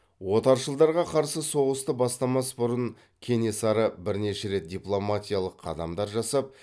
отаршылдарға қарсы соғысты бастамас бұрын кенесары бірнеше рет дипломатиялық қадамдар жасап